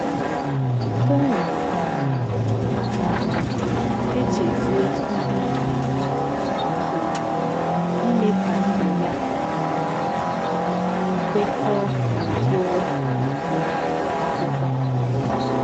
Tony um um èchèzìè ìhè ímà àkà nke ímè kà ndú yà um kwèkọ̀ọ̀ n’ùkpùrù um ákwụ́kwọ̀.